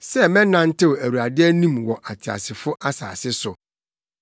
sɛ mɛnantew Awurade anim wɔ ateasefo asase so.